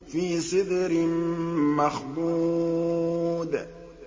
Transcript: فِي سِدْرٍ مَّخْضُودٍ